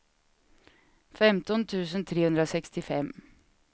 femton tusen trehundrasextiofem